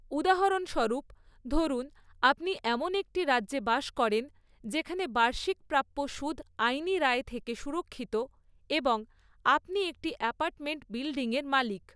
উদাহরণস্বরূপ, ধরুন আপনি এমন একটি রাজ্যে বাস করেন যেখানে বার্ষিক প্রাপ্য সুদ আইনি রায় থেকে সুরক্ষিত এবং আপনি একটি অ্যাপার্টমেন্ট বিল্ডিংয়ের মালিক।